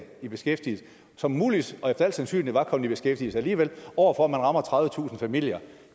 i beskæftigelse som muligvis og efter al sandsynlighed var kommet i beskæftigelse alligevel over for at man rammer tredivetusind familier